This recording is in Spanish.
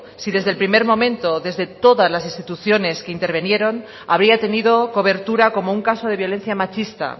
si desde el primer momento desde todas las instituciones que intervinieron habría tenido cobertura como un caso de violencia machista